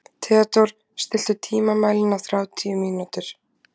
Theodór, stilltu tímamælinn á þrjátíu mínútur.